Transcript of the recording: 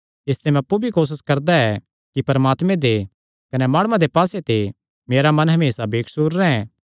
इसते मैं अप्पु भी कोसस करदा ऐ कि परमात्मे दे कने माणुआं दे पास्से ते मेरा मन हमेसा बेकसूर रैंह्